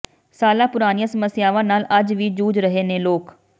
ਸਾਲਾਂ ਪੁਰਾਣੀਆਂ ਸਮੱਸਿਆਵਾਂ ਨਾਲ ਅੱਜ ਵੀ ਜੂਝ ਰਹੇ ਨੇ ਲੋਕ